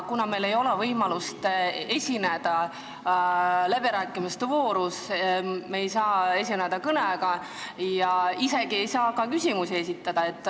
Meil ei ole võimalust esineda läbirääkimiste voorus, me ei saa kõnet pidada ega saa ka küsimusi esitada.